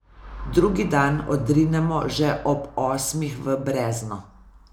Drugi dan odrinemo že ob osmih v brezno.